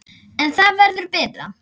En það verður betra.